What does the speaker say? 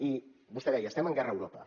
i vostè deia estem en guerra a europa